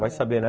Vai saber, né?